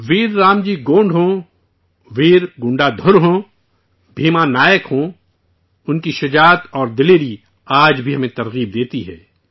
ویر رام جی گونڈ ہوں، ویر گنڈا دھر ہوں، بھیما نائک ہوں، ان کی شجاعت آج بھی ہمیں حوصلہ فراہم کرتی ہے